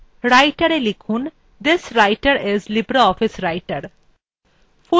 writerএ thiswriter is libreoffice writer লিখুন